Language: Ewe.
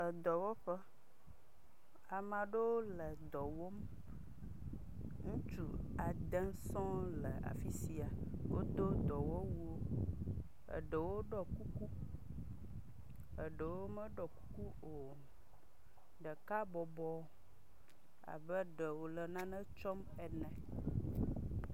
Edɔwɔƒe. Amea ɖewo le dɔ wɔm. Ŋutsu ade sɔŋ le afi sia wodo dɔwɔwu. Eɖewo ɖɔ kuku eɖewo meɖɔ kuku o. Ɖeka bɔbɔ abe ɖe wòle nane tsɔm ene.